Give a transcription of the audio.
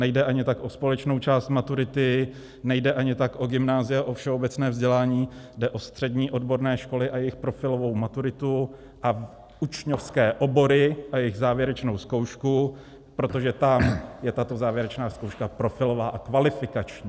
Nejde ani tak o společnou část maturity, nejde ani tak o gymnázia, o všeobecné vzdělání, jde o střední odborné školy a jejich profilovou maturitu a učňovské obory a jejich závěrečnou zkoušku, protože tam je tato závěrečná zkouška profilová a kvalifikační.